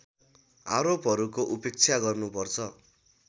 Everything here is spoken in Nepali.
आरोपहरूको उपेक्षा गर्नुपर्छ